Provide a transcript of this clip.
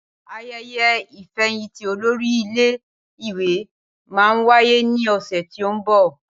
Ayẹyẹ ìfẹ̀yìntì olórí ilé ìwé máa wáyé ní ọ̀sẹ̀ tí ó ń bọ̀